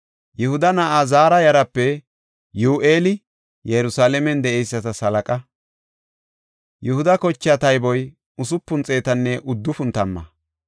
Yihuda na7aa Zaara yaraape Yi7u7eeli Yerusalaamen de7eysatas halaqa. Yihuda kochaa tayboy usupun xeetanne uddufun tamma.